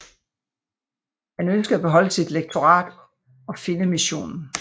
Han ønskede at beholde sit lektorat og Finnemissionen